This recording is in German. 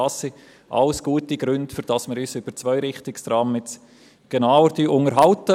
Das alles, sind alles gute Gründe, um sich im Grossen Rat über Zweirichtungstrams jetzt genauer zu unterhalten.